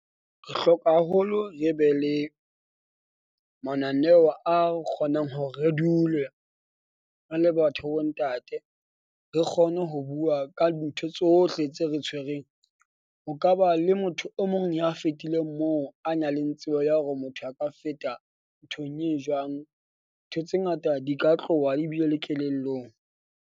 Re hloka haholo re be le mananeo a kgonang hore re dule re le batho ba bo ntate. Re kgone ho bua ka ntho tsohle tse re tshwereng. Ho ka ba le motho o mong ya fetileng moo a na leng tsebo ya hore motho a ka feta nthong eo jwang. Ntho tse ngata di ka tloha ebile le kelellong.